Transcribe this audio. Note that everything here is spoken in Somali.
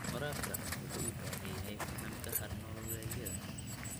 Waraabka wuxuu u baahan yahay fahamka hab-nololeedyada.